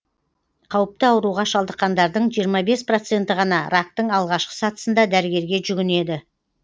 қауіпті ауруға шалдыққандардың жиырма бес проценті ғана рактың алғашқы сатысында дәрігерге жүгінеді